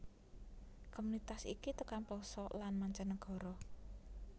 Komunitas iki tekan plosok lan mancanegara